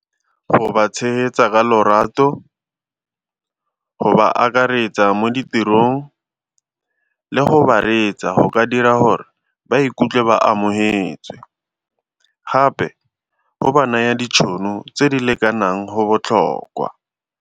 Go ba tshegetsa ka lorato, go ba akaretsa mo ditirong le go ba reetsa go ka dira gore ba ikutlwe ba amogetswe, gape o ba naye ditšhono tse di lekanang go botlhokwa.